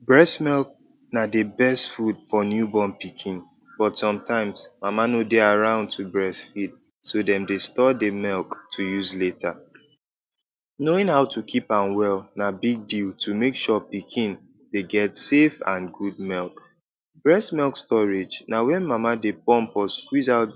Breast milk na di best food for new born pikin but somtime mama no dey around to breastfeed so dem dey store di milk to use later. Knowing how to keep am well na big deal to make sure say pikin dey get safe and good milk. Breast milk storage na wen mama dey pump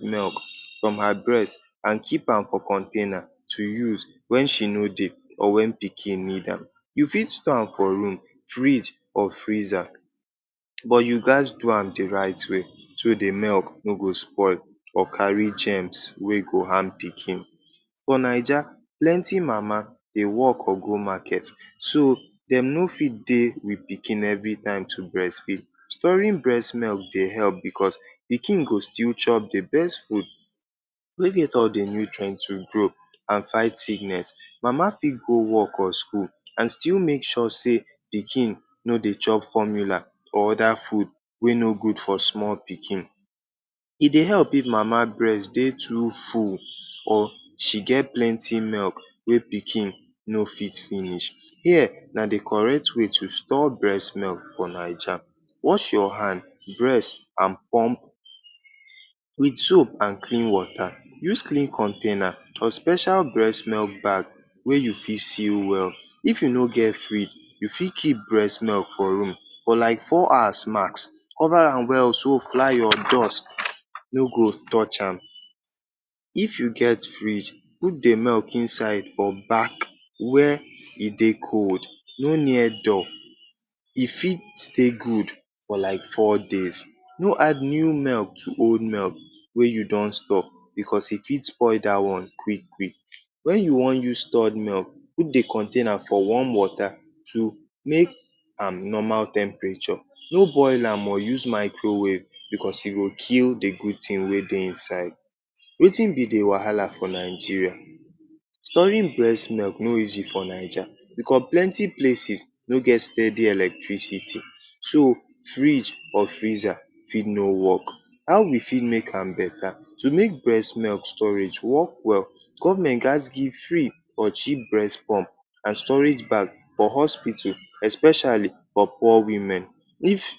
milk from im breast and keep am for container to use wen she no dey or wen pikin need am. You fit store am for room, fridge or freezer but you gats do am di right way so di milk no go spoil or carry gems wey fit harm pikin. For Naija, plenty mama dey wok or go market so dem no fit dey wit pikin evri time to breastfeed. Storing breast milk dey help because pikin go still chop di best food wey get all di nutrients to make body strong and fight sickness. Mama fit go wok or school and still make sure say pikin no dey chop formula or oda food wey no good for small pikin. E dey help mama breast dey too full or she get plenty milk wey pikin no fit finish. Here na di correct way to store breast milk for Naija. Wash your hand, breast and pump wit soap and clean water. Use clean container or special breast milk bag wey you fit seal well. If you no get fridge, you fit keep breast milk for room for like four hours max. Cover am well so fly or dust no go touch am. If you get fridge, put di milk inside for back where e dey cold, no near door. E fit still good for like four days. No add new milk to old milk wey you don store because e fit make di one spoil quick quick. Wen you wan use stored milk, put di container for warm water to bring am back to normal temperature. No boil am or use microwave because e go kill di good tin wey dey inside. Wetin be di wahala for Nigeria? Storing breast milk no easy for Naija because plenty places no get steady electricity so fridge or freezer fit no wok. How we fit make am betta? To make breast milk storage work well, Govment gats give free or cheap breast pump and storage bag for hospital, especially for poor women. If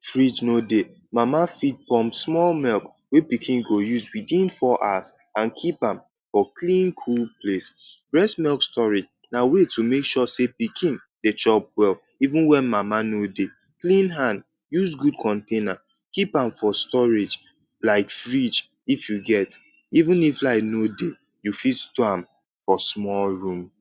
fridge no dey, mama fit pump small milk wey pikin go use within four hours and keep am for clean cool place. Breast milk storage na way to make sure say pikin dey chop well even wen mama no dey. Clean hand, use good container, keep am for storage like fridge if you get. Even if light no dey, you fit am for small room.